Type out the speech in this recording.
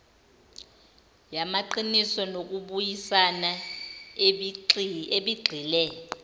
yamaqiniso nokubuyisana ebigxile